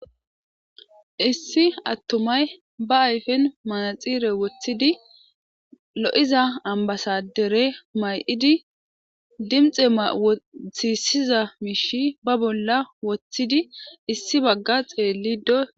issi attumay ba ayfen manaxire woththidi lo'iza ambasadere may'idi dimxe mawothisiza miishi ba bolla woththidi issi bagga xeellido.